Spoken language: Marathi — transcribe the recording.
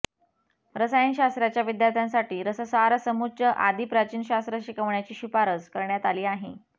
रसायनशास्त्राच्या विद्यार्थ्यांसाठी रससारसमुच्च आदी प्राचीन शास्त्र शिकविण्याची शिफारस करण्यात आली आहे